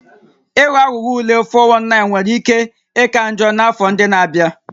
Ịghọ aghụghọ ule (419) nwere ike ịka njọ n'afọ ndị na-abịa